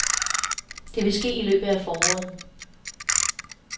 Det vil ske i løbet af foråret.